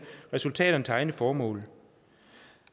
resultaterne til egne formål